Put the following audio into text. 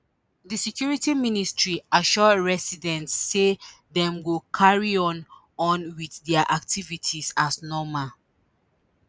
di security ministry assure residents say dem go carry on on wit dia activities as normal